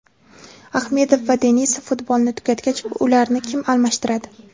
Ahmedov va Denisov futbolni tugatgach, ularni kim almashtiradi?